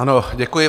Ano, děkuji.